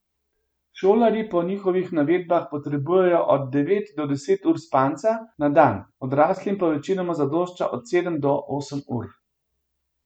Šolarji po njihovih navedbah potrebujejo od devet do deset ur spanca na dan, odraslim pa večinoma zadošča od sedem do osem ur.